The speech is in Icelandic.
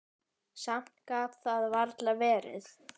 Samt gat það varla verið.